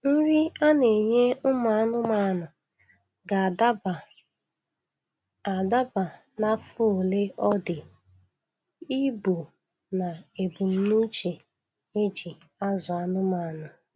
Nri a na-enye ụmụ anụmanụ ga-adaba adaba n' afọ ole ọ dị, ibu, na ebumnuche e ji azụ anụmanụ.